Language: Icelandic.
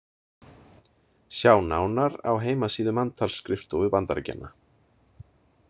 Sjá nánar á heimasíðu manntalsskrifstofu Bandaríkjanna.